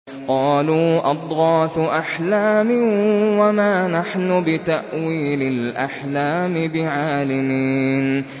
قَالُوا أَضْغَاثُ أَحْلَامٍ ۖ وَمَا نَحْنُ بِتَأْوِيلِ الْأَحْلَامِ بِعَالِمِينَ